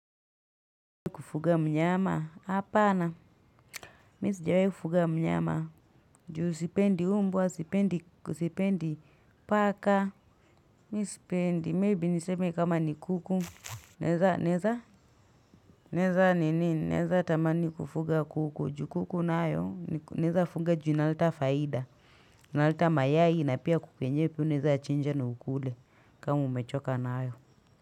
Kufuga mnyama hapana mi sijawai kufuga mnyama juu sipendi mbwa sipendi sipendi paka mi sipendi maybe niseme kama ni kuku naeza naeza naeza nini naeza tamani kufuga kuku juu kuku nayo ni naeza fuga juu inaleta faida naleta mayai na pia kuku yenyewe pia unaeza chinja na ukule kama umechoka naayo.